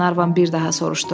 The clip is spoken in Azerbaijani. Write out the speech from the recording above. Qlenarvan bir daha soruşdu.